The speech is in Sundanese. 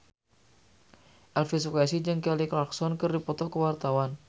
Elvy Sukaesih jeung Kelly Clarkson keur dipoto ku wartawan